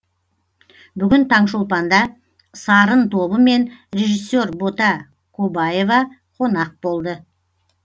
бүгін таңшолпанда сарын тобы мен режиссер бота кобаева қонақ болды